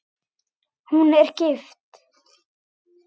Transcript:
Hún er gift.